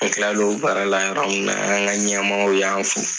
N tilalaw o baarala yɔrɔ min na an ka ɲɛmɔgɔ y'an fo.